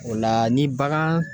O la ni bagan